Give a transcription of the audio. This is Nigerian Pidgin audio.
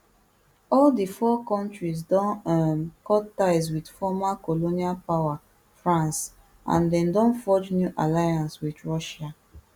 all di four kontris don um cut ties wit former colonial power france and dem don forge new alliances wit russia